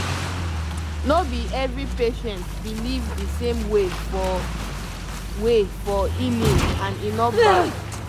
no be every patient believe the same way for way for healing and e no bad